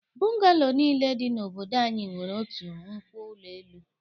Bụngalo niile dị n'obodo anyị nwere otu nkwo ụlọ elu.